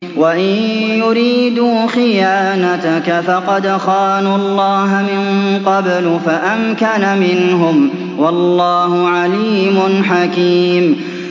وَإِن يُرِيدُوا خِيَانَتَكَ فَقَدْ خَانُوا اللَّهَ مِن قَبْلُ فَأَمْكَنَ مِنْهُمْ ۗ وَاللَّهُ عَلِيمٌ حَكِيمٌ